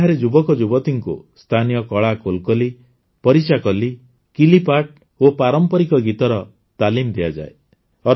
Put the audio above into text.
ଏଠାରେ ଯୁବକଯୁବତୀଙ୍କୁ ସ୍ଥାନୀୟ କଳା କୋଲକଲି ପରିଚାକଲି କିଲିପ୍ପାଟ୍ଟ୍ ଓ ପାରମ୍ପରିକ ଗୀତର ତାଲିମ ଦିଆଯାଏ